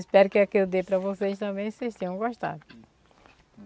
Espero que a que eu dei para vocês também vocês tenham gostado.